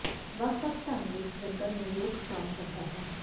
ਵੱਖ ਵੱਖ ਢੰਗ ਵਿੱਚ ਜੰਤਰ ਨੂੰ ਰੋਕ ਹਟਾਉਣ ਸਕਦਾ ਹੈ